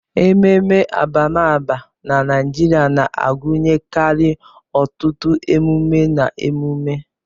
Ememe abamaba na Naijiria na-agụnyekarị ọtụtụ emume na emume.